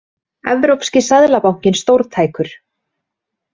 Evrópski seðlabankinn stórtækur